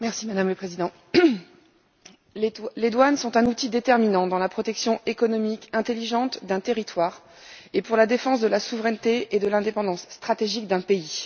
Madame la Présidente, les douanes sont un outil déterminant dans la protection économique intelligente d'un territoire et pour la défense de la souveraineté et de l'indépendance stratégique d'un pays.